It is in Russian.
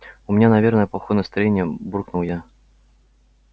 у меня наверное плохое настроение буркнул я